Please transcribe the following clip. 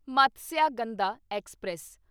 Matsyagandha express